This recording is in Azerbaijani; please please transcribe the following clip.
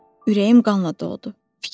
Ürəyim qanla doldu.